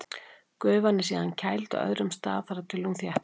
Gufan er síðan kæld á öðrum stað þar til hún þéttist.